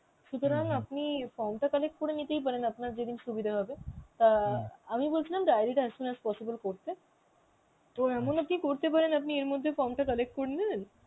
সুতরাং overla আপনি form টা collect করে নিতেই পারেন আপনার যেদিন সুবিধা হবে. অ্যাঁ আমি বলছিলাম diary টা as soon as possible করতে তো এমনও কি করতে পারেন আপনি এর মধ্যে form টা collect করে নিলেন